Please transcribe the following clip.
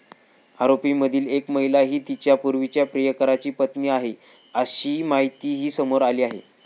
आरोपींमधील एक महिला ही तिच्या पूर्वीच्या प्रियकराची पत्नी आहे, अशी माहितीही समोर आली आहे.